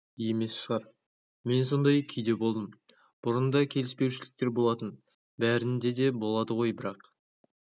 емес шығар мен сондай күйде болдым бұрын да келіспеушіліктер болатын бәрінде де болады ғой бірақ